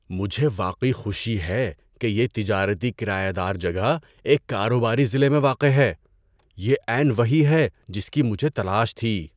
مجھے واقعی خوشی ہے کہ یہ تجارتی کرایہ دار جگہ ایک کاروباری ضلع میں واقع ہے۔ یہ عین وہی ہے جس کی مجھے تلاش تھی۔